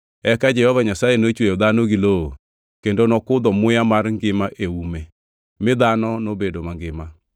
Eka Jehova Nyasaye nochweyo dhano gi lowo kendo nokudho muya mar ngima ei ume, mi dhano nobedo mangima.